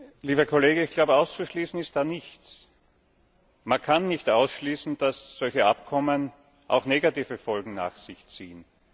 Herr Präsident! Lieber Kollege, ich glaube, auszuschließen ist da nichts. Man kann nicht ausschließen, dass solche Abkommen auch negative Folgen nach sich ziehen.